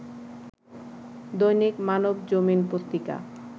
দৈনিক মানবজমিন পত্রিকা